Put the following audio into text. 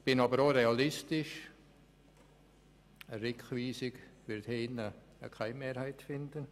Ich bin aber auch realistisch, eine Rückweisung wird hier keine Mehrheit finden.